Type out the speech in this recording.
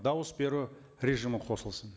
дауыс беру режимі қосылсын